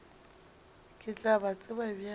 ke tla ba tseba bjang